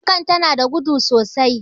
fankar tana da gudu sosai